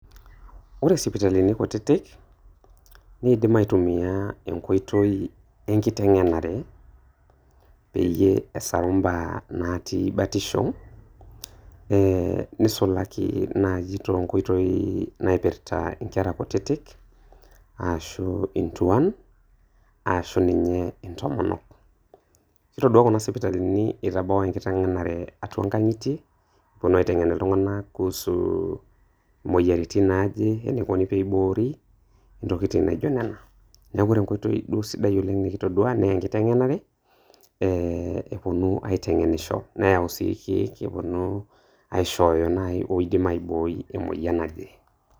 ore sipitalini kutitik neidim aitumiya enkoitoi enkiteng'enare pee esaru mbaa natii batisho ee neisulaki naatii too nkoitoi naipirta inkerra kutitik arashu intuaan arashu ninye intomonok ore si kuna sipitalini